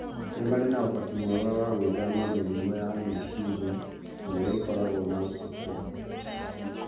nĩ marĩ ũhoti mwega wa gwĩthema mĩrimũ ya meciria ĩrĩa ĩkoragwo na ũkũrũ.